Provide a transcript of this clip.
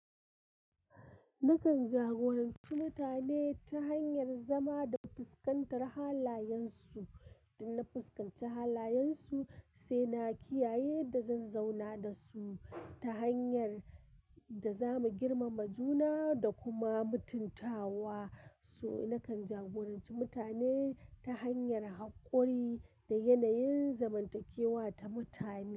Nakan jagoranci mutane ta hanyar zama da fuskantar halayensu, da na fuskanci halayensu, sai na kiyaye da zan zauna da su ta hanyar da za mu girmama juna da kuma mutuntawa. To na kan jagorance mutane ta hanyar hakori da yanayin zamantakewa ta mutane.